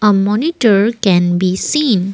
moniter can be seen.